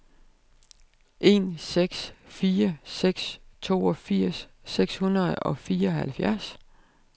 en seks fire seks toogfirs seks hundrede og fireoghalvfjerds